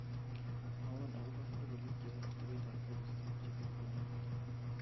mwowon agopo logoiwek chepo atebet ab koristo chepo konegit